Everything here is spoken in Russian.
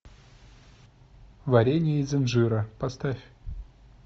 варенье из инжира поставь